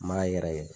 N m'a yɛrɛ kɛ